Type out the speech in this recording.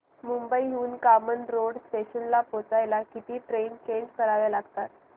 मुंबई हून कामन रोड स्टेशनला पोहचायला किती ट्रेन चेंज कराव्या लागतात